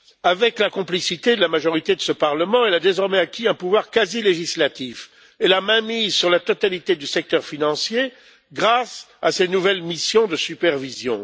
Avec la complicité de la majorité de ce Parlement, elle a désormais acquis un pouvoir quasi législatif et la mainmise sur la totalité du secteur financier grâce à ses nouvelles missions de supervision.